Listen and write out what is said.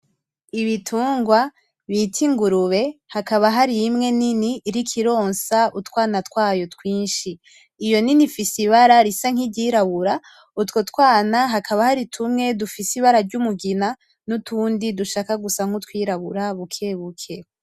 Ibitungwa bita ingurube hakaba harimwe nini iriko ironsa utwana twayo twinshi iyo nini ifise ibara risa nkiryirabura utwo twana hakaba hari tumwe dusa nkumugina nutundi dushaka gusa nkutwirabura bukebuke.